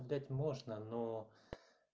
видать можно но